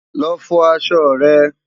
lọ fọ aṣọ rẹ